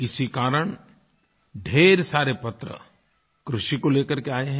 इसी कारण ढ़ेर सारे पत्र कृषि को लेकर के आए हैं